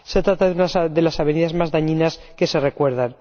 Se trata de una de las avenidas más dañinas que se recuerdan.